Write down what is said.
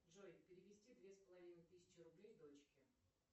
джой перевести две с половиной тысячи рублей дочке